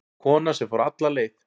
Kona sem fór alla leið